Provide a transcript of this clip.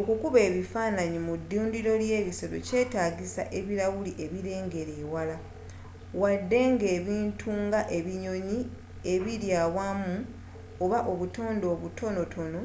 okukuba ebifaananyi mu ddundiro ly'ebisolo kyetaagisa ebirawuli ebirengerera ewala wadde nga ebintu nga ebinyonyi ebiri awamu oba obutonde obutono